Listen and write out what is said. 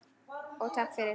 Og takk fyrir.